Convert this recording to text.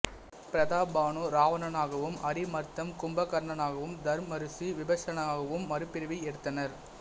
பிரதாப்பானு இராவணனாகவும் அரிமர்த்தம் கும்பகர்ணனாகவும் தர்மருசி விபீஷணனாகவும் மறுபிறவி எடுத்தனர்